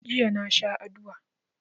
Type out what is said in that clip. Jiya na sha adua.